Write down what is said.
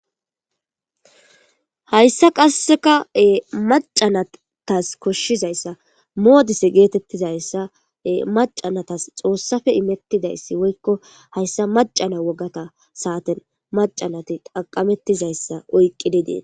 Mayssa qasseka e macanatas koshshizayssa moodise geetettizayssae macanatas xoossafe imettidayssi woykko hayssa macana wogata saaten macanati qaqamettizayssa oyqqi didee.